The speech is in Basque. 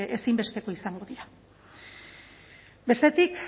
ezinbestekoa izango dira bestetik